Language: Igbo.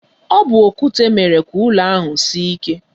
Ọ bu okwute mere ka ụlọ ahụ sie ike.